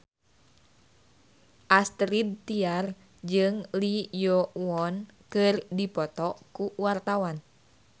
Astrid Tiar jeung Lee Yo Won keur dipoto ku wartawan